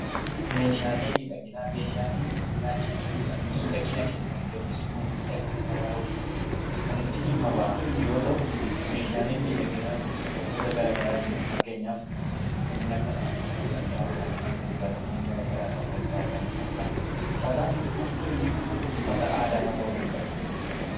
Meeshaalee miidhaginaa. Meeshaalee miidhaginaa jechuun miidhagina kennuuf yookiin immoo miidhagina dabaluuf kan itti dhimma ba'amu yammuu ta'uu meeshaaleen miidhaginaa kunis wantoota garaa garaatu jira. Fakkeenyaaf kanneen akka saamunaa ta'uu danda'a. Kanneen akka dibatawwan garaa garaa ta'uu danda'a. Kanneen akka uffata aadaa fa'aa ta'uu danda'a.